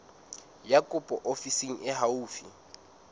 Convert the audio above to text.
ya kopo ofising e haufi